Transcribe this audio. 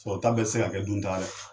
Sɔrɔ ta bɛɛ se ka kɛ dun taga dɛ